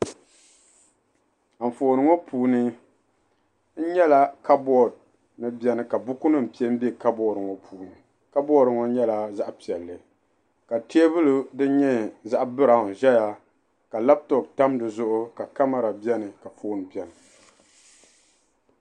Anfooni ŋɔ puuni n nyɛla kabood ni biɛni ka buku nim piɛ n bɛ kabood ŋɔ puuni kabood ŋɔ nyɛla zaɣ piɛlli ka teebuli din nyɛ biraawn ʒɛya ka labtop tam dizuɣu ka kamɛra biɛni ka foon biɛni